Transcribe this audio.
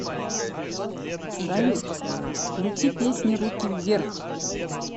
салют включи песни руки вверх